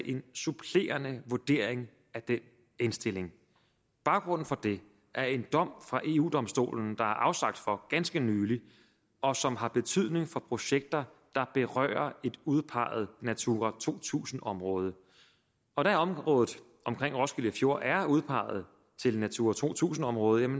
en supplerende vurdering af den indstilling baggrunden for det er en dom fra eu domstolen der er afsagt for ganske nylig og som har betydning for projekter der berører et udpeget natura to tusind område og da området omkring roskilde fjord er udpeget til natura to tusind område